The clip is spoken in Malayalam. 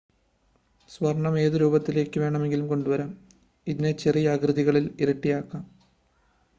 സ്വർണ്ണം ഏത് രൂപത്തിലേക്ക് വേണമെങ്കിലും കൊണ്ടുവരാം ഇതിനെ ചെറിയ ആകൃതികളിൽ ഉരുട്ടിയെടുക്കാം